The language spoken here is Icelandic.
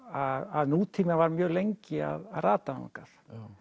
að nútíminn var mjög lengi að rata þangað